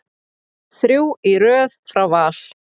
Þrjú í röð frá Val.